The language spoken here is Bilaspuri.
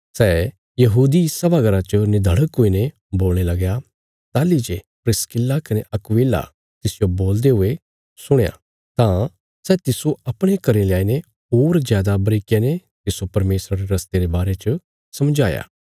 सै यहूदी सभा घरा च निधड़क हुईने बोलणे लगया ताहली जे प्रिस्किल्ला कने अक्विला तिसजो बोलदे हुये सुणया तां सै तिस्सो अपणे घरें ल्याईने होर जादा बारीकिया ने तिस्सो परमेशरा रे रस्ते रे बारे च समझाया